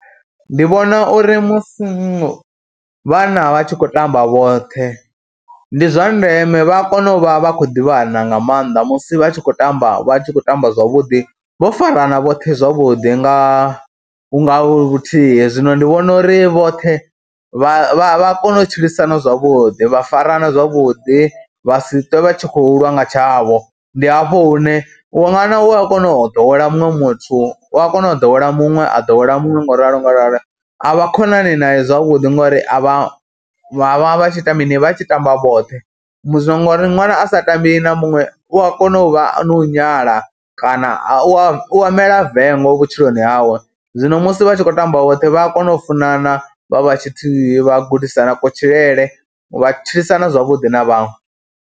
Ndi vhona uri musi vhana vha tshi khou tamba vhoṱhe ndi zwa ndeme vha kono u vha vha khou ḓivhana nga maanḓa musi vha tshi khou tamba vha tshi khou tamba zwavhuḓi, vho farana vhoṱhe zwavhuḓi nga hu nga vhuthihi. Zwino ndi vhona uri vhoṱhe vha vha kona u tshilisana zwavhuḓi vha farana zwavhuḓi, vha si ṱwe vha tshi khou lwa nga tshavho, ndi hafho hune u ṅwana u a kona u ḓowela muṅwe muthu, u a kona u ḓowela muṅwe, a ḓowela muṅwe ngauralo ngauralo. A vha khonani naye zwavhuḓi ngori a vha vha vha vha tshi ita mini, vha tshi tamba vhoṱhe musi ngori ṅwana a sa tambi na muṅwe u a kona u vha na u nyala kana u a ya u mela vengo vhutshiloni hawe, zwino musi vha tshi khou tamba vhoṱhe vha a kona u funana vha vha tshithihi vha gudisana kutshilele vha tshilisana zwavhuḓi na vhaṅwe.